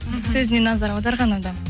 сөзіне назар аударған адам